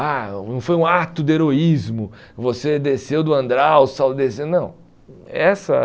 Ah, não foi um ato de heroísmo, você desceu do andral, saudeceu, não. Essa